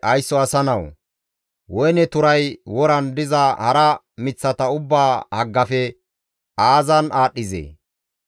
«Haysso asa nawu! Woyne turay woran diza hara miththata ubbaa haggafe aazan aadhdhizee?